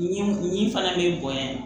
Ɲinini fana bɛ bonya